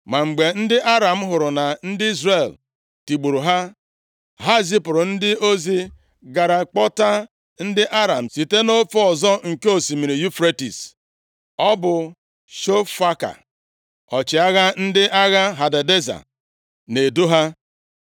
Ma mgbe ndị Aram hụrụ na ndị Izrel tigburu ha, ha zipụrụ ndị ozi gara kpọta ndị Aram site nʼofe ọzọ nke Osimiri Yufretis. Ọ bụ Shofaka ọchịagha ndị agha Hadadeza na-edu ha.